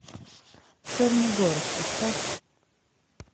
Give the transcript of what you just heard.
черный город поставь